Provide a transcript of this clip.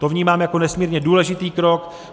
To vnímám jako nesmírně důležitý krok.